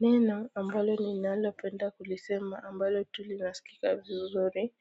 Neno ambalo ninalopenda kulisema ambalo tu linasikika vizuri